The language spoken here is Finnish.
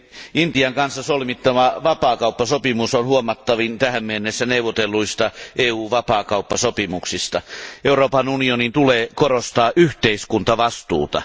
Arvoisa puhemies, Intian kanssa solmittava vapaakauppasopimus on huomattavin tähän mennessä neuvotelluista EU vapaakauppasopimuksista. Euroopan unionin tulee korostaa yhteiskuntavastuuta.